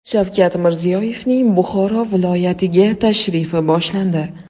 Shavkat Mirziyoyevning Buxoro viloyatiga tashrifi boshlandi .